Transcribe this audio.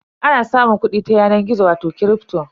Ana samun kuɗi ta yanar gizo wato kripto.